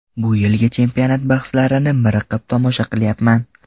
Bu yilgi chempionat bahslarini miriqib tomosha qilyapman.